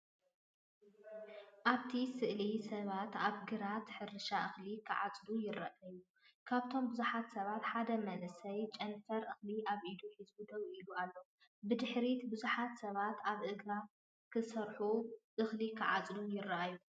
ኣብቲ ስእሊ ሰባት ኣብ ግራት ሕርሻ እኽሊ ክዓጽዱ ይረኣዩ። ካብቶም ብዙሓት ሰባት ሓደ መንእሰይ ጨንፈር እኽሊ ኣብ ኢዱ ሒዙ ደው ኢሉ ኣሎ። ብድሕሪት ብዙሓት ሰባት ኣብ ግራት ክሰርሑን እኽሊ ክዓጽዱን ይረኣዩ።